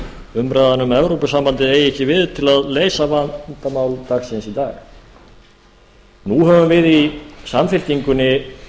umræðan um evrópusambandið eigi ekki við til að leysa vandamál dagsins í dag nú höfum við í samfylkingunni